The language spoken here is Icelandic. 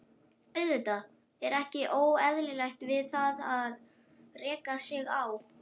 Auðvitað er ekkert óeðlilegt við það að reka sig á.